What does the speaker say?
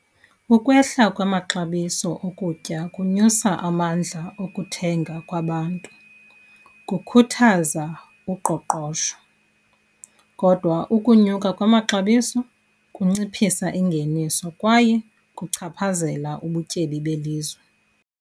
Ukwehla kwamaxabiso okutya kunyusa amandla okuthenga kwabantu, kukhuthaza uqoqosho. Kodwa ukunyuka kwamaxabiso kunciphisa ingeniso kwaye kuchaphazela ubutyebi belizwe.